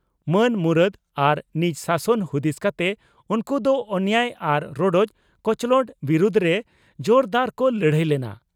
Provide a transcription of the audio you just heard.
ᱢᱟᱹᱱ ᱢᱩᱨᱟᱹᱫᱽ ᱟᱨ ᱱᱤᱡᱽ ᱥᱟᱥᱚᱱ ᱦᱩᱫᱤᱥ ᱠᱟᱛᱮ ᱩᱱᱠᱩ ᱫᱚ ᱚᱱᱮᱭᱟᱭ ᱟᱨ ᱨᱚᱰᱚᱡ ᱠᱚᱪᱞᱚᱸᱰ ᱵᱤᱨᱩᱫᱽᱨᱮ ᱡᱳᱨᱫᱟᱨ ᱠᱚ ᱞᱟᱹᱲᱦᱟᱹᱭ ᱞᱮᱱᱟ ᱾